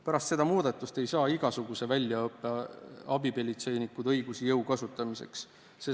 Pärast selle muudatuse elluviimist ei saa igasuguse väljaõppega abipolitseinikud õigusi jõu kasutamiseks.